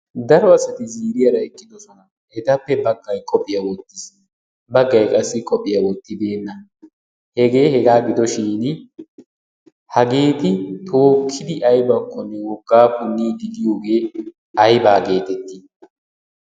Daro asati ziiriyaara eqqidoosona. Etappe baggay qophiya wottiis, baggay qophiya wottibeena. Hege hegaa gidoshin hageeti tookkidi aybbakkone woggaa punniidi diyogee ayba getetti?